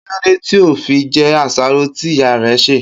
Kí ló dé tí o ò fi je̩ àsáró tí ìyá re̩ sè?